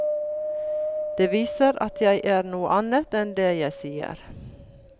Det viser at jeg er noe annet enn det jeg sier.